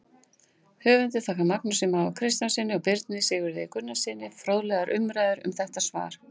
Höfundur þakkar Magnúsi Má Kristjánssyni og Birni Sigurði Gunnarssyni fróðlegar umræður um þetta svar.